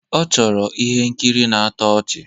Ọ chọrọ ihe nkiri na-atọ ọchị